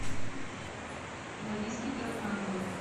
лариске таракановой